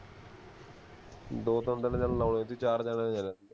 ਦੋ ਤਿੰਨ ਦਿਨ ਚੱਲ ਲਾਉਣੇ ਸੀ ਚਾਰ ਜਣੇ ਹੈ ਯਾਰ ਅਸੀਂ